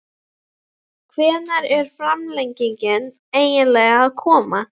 Hvenær á framlengingin eiginlega að koma??